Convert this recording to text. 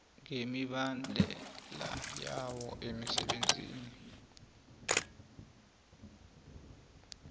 ngemibandela yawo emsebenzini